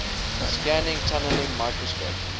scanning tunneling microscope